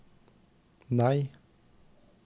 nei